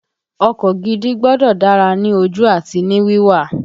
Ọkọ gidi gbọ́dọ̀ dára ní ojú àti ní wíwà